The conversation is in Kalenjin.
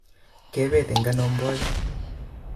Kebet eng ano mboja